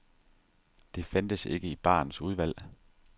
Det fandtes ikke i barens udvalg.